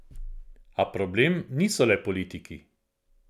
A problem niso le politiki.